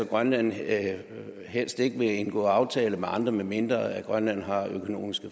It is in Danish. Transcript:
grønland helst ikke vil indgå aftaler med andre medmindre grønland har økonomisk